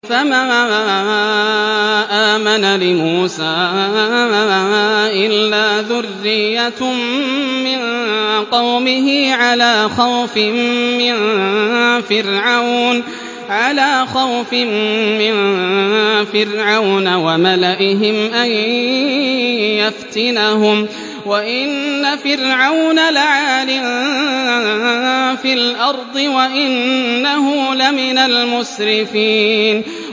فَمَا آمَنَ لِمُوسَىٰ إِلَّا ذُرِّيَّةٌ مِّن قَوْمِهِ عَلَىٰ خَوْفٍ مِّن فِرْعَوْنَ وَمَلَئِهِمْ أَن يَفْتِنَهُمْ ۚ وَإِنَّ فِرْعَوْنَ لَعَالٍ فِي الْأَرْضِ وَإِنَّهُ لَمِنَ الْمُسْرِفِينَ